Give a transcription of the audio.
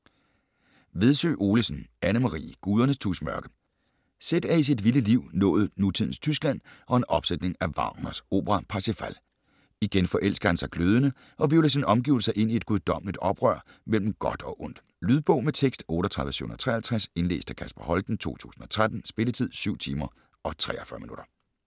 Vedsø Olesen, Anne-Marie: Gudernes tusmørke Seth er i sit vilde liv nået nutidens Tyskland og en opsætning af Wagners opera Parsifal. Igen forelsker han sig glødende, og hvirvler sine omgivelser ind i et guddommeligt oprør mellem godt og ondt. Lydbog med tekst 38753 Indlæst af Kasper Holten, 2013. Spilletid: 7 timer, 43 minutter.